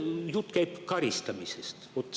Jutt käib karistamisest.